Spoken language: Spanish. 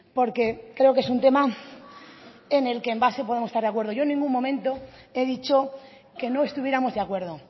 porque creo que es un tema en el que en base podemos estar de acuerdo yo en ningún momento he dicho que no estuviéramos de acuerdo